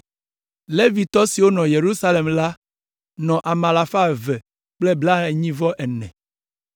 Levitɔ siwo nɔ Yerusalem la nɔ ame alafa eve kple blaenyi-vɔ-ene (284).